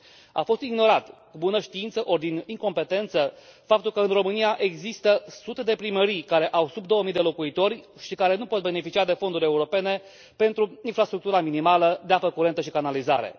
A fost ignorat, cu bună știință ori din incompetență, faptul că în România există sute de primării care au sub două mii de locuitori și care nu pot beneficia de fonduri europene pentru infrastructura minimală de apă curentă și canalizare.